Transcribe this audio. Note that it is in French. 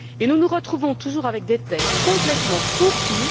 Nous nous retrouvons toujours avec des textes complètement fourre tout.